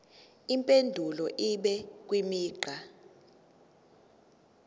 impendulo ibe imigqa